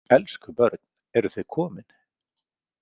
Elsku börn, eruð þið komin?